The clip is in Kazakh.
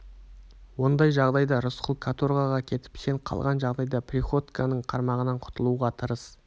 ондай жағдайда рысқұл каторгаға кетіп сен қалған жағдайда приходьконың қармағынан құтылуға тырыс